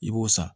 I b'o san